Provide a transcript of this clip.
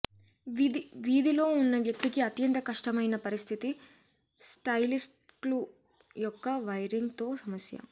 వీధిలో ఉన్న వ్యక్తికి అత్యంత కష్టమైన పరిస్థితి స్టైల్స్కిల యొక్క వైరింగ్ తో సమస్య